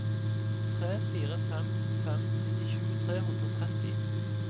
tre fire fem fem nittisju tre hundre og tretti